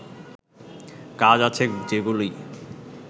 কাজ আছে যেগুলি